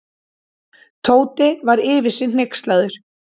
Tóti var yfir sig hneykslaður.